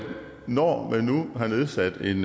når man nu har nedsat en